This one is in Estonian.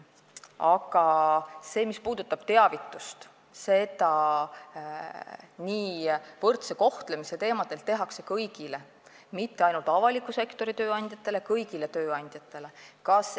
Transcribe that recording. Aga mis puudutab teavitust, siis võrdse kohtlemise teemadel teavitatakse kõiki, mitte ainult avaliku sektori tööandjaid, vaid kõiki tööandjaid.